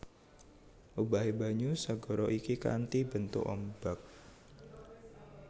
Obahé banyu segara iki kanthi bentuk ombak